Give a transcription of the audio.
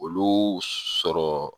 Olu sɔrɔ